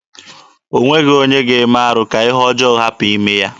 O nweghị onye ga-eme arụ ka ihe ọjọọ hapụ ime ya.